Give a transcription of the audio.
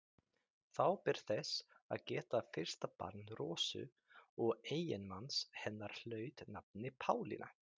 Þá ber þess að geta að fyrsta barn Rósu og eiginmanns hennar hlaut nafnið Pálína.